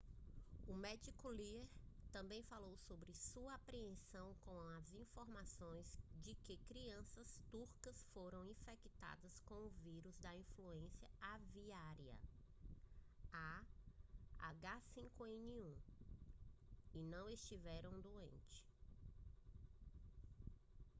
o médico lee também falou sobre sua apreensão com as informações de que crianças turcas foram infectadas com o vírus da influenza aviária a h5n1 e não estiveram doentes